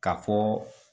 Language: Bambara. Ka fɔ